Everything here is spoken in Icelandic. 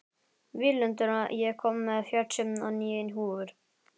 Víglundur, ég kom með fjörutíu og níu húfur!